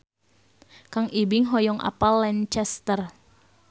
Kang Ibing hoyong apal Lancaster